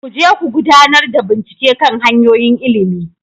Ku je ku gudanar da bincike kan hanyoyin ilimi,